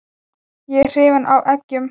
Ég er hrifinn af eggjum.